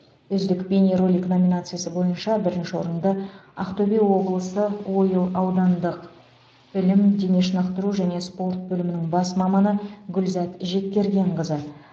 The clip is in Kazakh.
үздік бейнеролик номинациясы бойынша бірінші орынды ақтөбе облысы ойыл аудандық білім дене шынықтыру және спорт бөлімінің бас маманы гүлзат жеткергенқызы